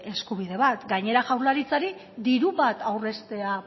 eskubide bat gainera jaurlaritzari diru bat aurreztea